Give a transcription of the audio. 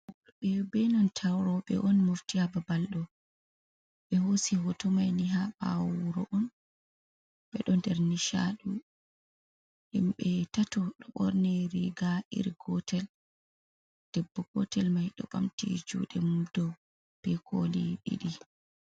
Ɓi benanta roɓe on mofti ha babal ɗo ɓe hosi hotomaini ha ɓawo wuro on ɓeɗo nder nishadi, himɓe tato ɗo ɓorni riga iri gotel debbo gotel mai ɗo ɓamti juɗe mum dow be koli ɗiɗi.